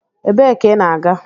Ebee ka ị na-aga?